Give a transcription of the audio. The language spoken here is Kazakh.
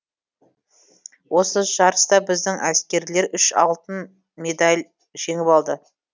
осы жарыста біздің әскерлер үш алтын медаль жеңіп алды